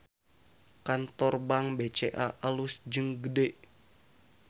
Kantor Bank BCA alus jeung gede